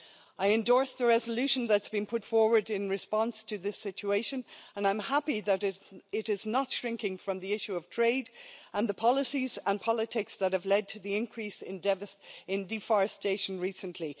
I endorse the resolution that has been put forward in response to this situation and I am happy that it is not shrinking from the issue of trade and the policies and politics that have led to the increase in deforestation recently.